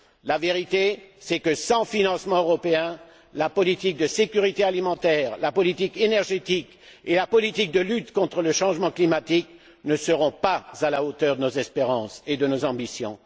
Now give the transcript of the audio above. La vérité est que, sans financement européen, la politique de sécurité alimentaire, la politique énergétique et la politique de lutte contre le changement climatique ne seront pas à la hauteur de nos espérances et de nos ambitions.